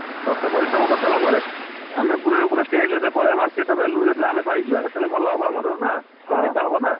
ବର୍ଷେ ପରିଶ୍ରମ କରିସାରିଲା ପରେ, ଆମେ ପୁରା କୁ ପୁରା stage କୁ ଯେତେବେଳେ ପଳେଇବା market ର value ଯେତେବେଳେ ପାଇଯିବା ଭଲ ହବ ସେତେବେଳକୁ ନା, profit ଟା ହବ ନା।